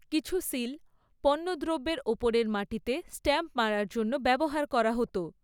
কিছু সীল পণ্যদ্রব্যের ওপরের মাটিতে স্ট্যাম্প মারার জন্য ব্যবহার করা হত।